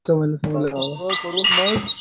सगळं करून मग